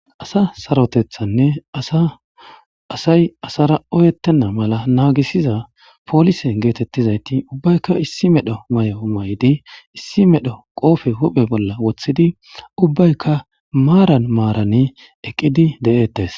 asa sarotethanne asay asara oyettenna mala naagisiza poolisen geetettizayti ubbaykka issi medho mayo maydi issi medho qoofe huphe bolla woththidi ubbaykka maaran maaran eqqidi de7ettes